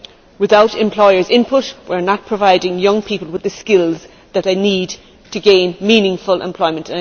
Without employers' input we are not providing young people with the skills that they need to gain meaningful employment.